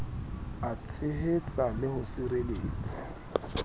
a tshehetsa le ho sireletsa